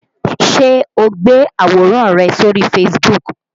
Ṣé o gbé àwòrán rẹ sórí Facebook?